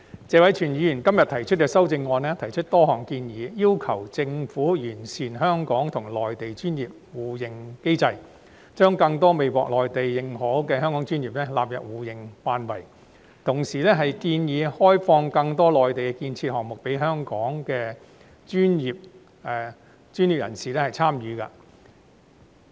謝偉銓議員今天提出的修正案載有多項建議，例如要求政府完善香港與內地的專業互認機制，將更多未獲內地認可的香港專業納入互認範圍，同時建議開放更多內地建設項目予香港專業人士參與。